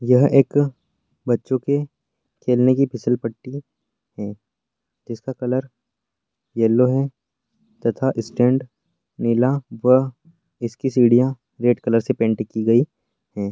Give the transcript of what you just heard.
यह एक अ बच्चों के खेलने की फिसल पट्टी है जिसका अ कलर यलो है तथा स्टेंड नीला व इसकी सीढ़ियां रेड कलर से पेन्ट की गयी है।